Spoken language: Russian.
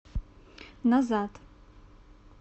назад